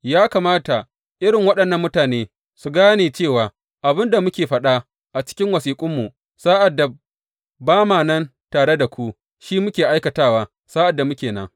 Ya kamata irin waɗannan mutane su gane cewa abin da muke faɗa a cikin wasiƙunmu sa’ad da ba ma nan tare da ku, shi muke aikatawa sa’ad da muke nan.